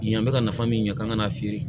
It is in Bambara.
Yen an bɛ ka nafa min ɲɛ k'an ka n'a feere